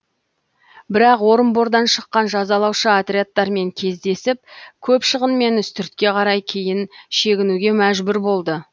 бірақ орынбордан шыққан жазалаушы отрядтармен кездесіп көп шығынмен үстіртке қарай кейін шегінуге мәжбүр болды